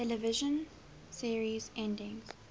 television series endings